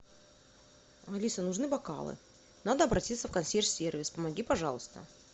алиса нужны бокалы надо обратиться в консьерж сервис помоги пожалуйста